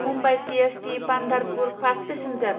Mumbai CST Pandharpur fast passenger